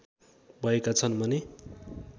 भएका छन् भने